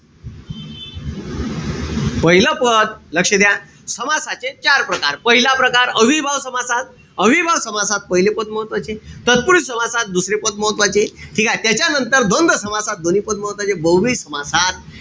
पाहिलं पद, लक्ष द्या. समासाचे चार प्रकार. पहिला प्रकार, अव्ययीभाव समासात, अव्ययीभाव समासात पहिले पद महत्वाचे. तत्पुरुषी समासात दुसरे पद महत्वाचे. ठीकेय? त्याच्यानंतर द्वंद्व समासात दोन्ही पद महत्वाचे. बहूव्रीही समासात,